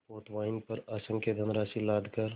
पोतवाहिनी पर असंख्य धनराशि लादकर